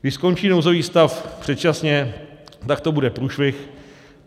Když skončí nouzový stav předčasně, tak to bude průšvih.